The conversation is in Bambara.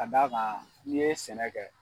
Ka da kan n'i ye sɛnɛ kɛ